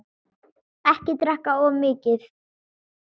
Ekki drekka of mikið.